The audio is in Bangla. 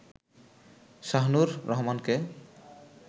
শাহুনুর রহমানকে